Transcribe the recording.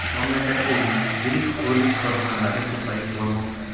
Mamlakatda yirik qurilish korxonalari ko‘payib bormoqda.